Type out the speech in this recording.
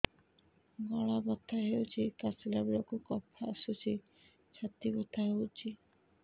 ଗଳା ବଥା ହେଊଛି କାଶିଲା ବେଳକୁ କଫ ଆସୁଛି ଛାତି ବଥା ହେଉଛି